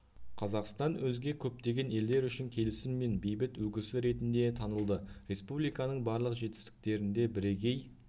қазақстан өзге көптеген елдер үшін келісім мен бейбіт үлгісі ретінде танылды республиканың барлық жетістіктерінде бірігей